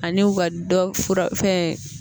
Ani u ka dɔ fura fɛn